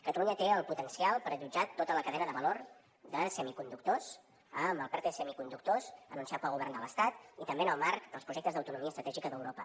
catalunya té el potencial per allotjar tota la cadena de valor de semiconductors amb el perte de semiconductors anunciat pel govern de l’estat i també en el marc dels projectes d’autonomia estratègica d’europa